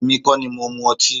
Èmi kọ́ ní mo mú ọtí